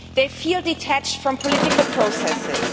They feel detached from political processes.